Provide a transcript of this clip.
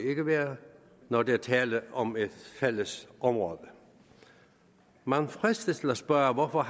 ikke være når der er tale om et fælles område man fristes til at spørge hvorfor